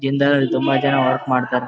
ಜಿಂದಾಲ್ ಅಲ್ಲಿ ತುಂಬಾ ಜನ ವರ್ಕ್ ಮಾಡ್ತಾರೆ.